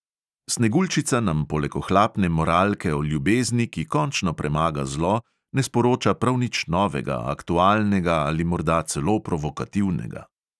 Sneguljčica nam poleg ohlapne moralke o ljubezni, ki končno premaga zlo, ne sporoča prav nič novega, aktualnega ali morda celo provokativnega.